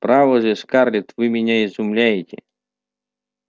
право же скарлетт вы меня изумляете